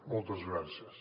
moltes gràcies